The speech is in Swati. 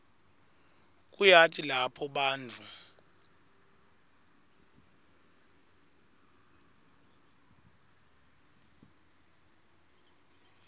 kuyati lapho bantfu